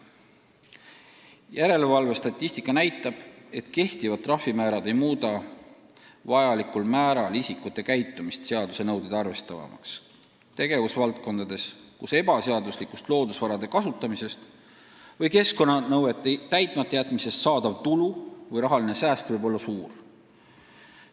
Järelevalvestatistika näitab, et kehtivad trahvimäärad pole vajalikul määral mõjutanud isikute käitumist tegevusvaldkondades, kus ebaseaduslikust loodusvarade kasutamisest või keskkonnanõuete täitmata jätmisest saadav tulu või rahaline sääst võib olla suur.